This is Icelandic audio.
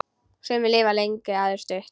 Sumir lifa lengi, aðrir stutt.